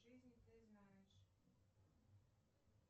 жизни ты знаешь